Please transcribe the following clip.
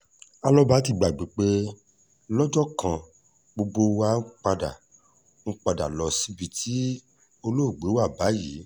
alọ́ba ti gbàgbé pé lọ́jọ́ kan gbogbo wa pátá ń padà lọ́ọ́ síbi tí olóògbé wà báyìí